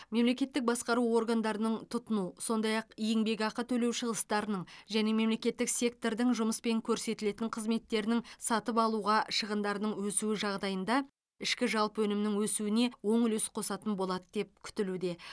мемлекеттік басқару органдарының тұтыну сондай ақ еңбекақы төлеу шығыстарының және мемлекеттік сектордың жұмыс пен көрсетілетін қызметтерінің сатып алуға шығындарының өсуі жағдайында ішкі жалпы өнімнің өсуіне оң үлес қосатын болады деп күтілуде